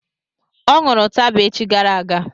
Ọ ṅụrụ ụtaba echi gara aga